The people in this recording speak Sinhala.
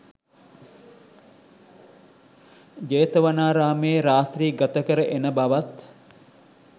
ජේතවනාරාමයේ රාත්‍රි ගතකර එන බවත්